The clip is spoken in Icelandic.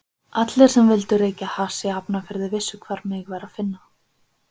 Allir sem vildu reykja hass í Hafnarfirði vissu hvar mig var að finna.